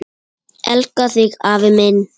Elska þig, afi minn.